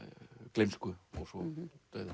gleymsku og svo dauða